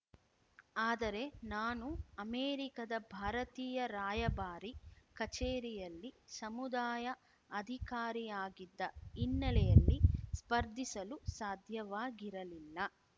ಆದರೆ ನಾನು ಅಮೆರಿಕದ ಭಾರತೀಯ ರಾಯಭಾರಿ ಕಚೇರಿಯಲ್ಲಿ ಸಮುದಾಯ ಅಧಿಕಾರಿಯಾಗಿದ್ದ ಹಿನ್ನೆಲೆಯಲ್ಲಿ ಸ್ಪರ್ಧಿಸಲು ಸಾಧ್ಯವಾಗಿರಲಿಲ್ಲ